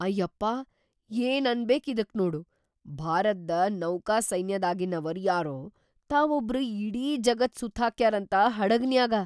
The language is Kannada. ಅಯ್ಯಪ್ಪಾ ಏನ್‌ ಅನಬೇಕ್‌ ಇದಕ್ಕ್ ನೋಡು ಭಾರತ್ದ ನೌಕಾಸೈನ್ಯದಾಗಿನವರ್‌ ಯಾರೋ ತಾವೊಬ್ರ ಇಡೀ ಜಗತ್ ಸುತ್ತ್ಹಾಕ್ಯಾರಂತ ಹಡಗಿನ್ಯಾಗ.